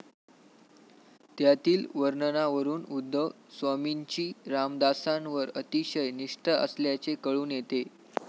त्यातील वर्णनावरून उद्धव स्वामींची रामदासांवर अतिशय निष्ठा असल्याचे कळून येते.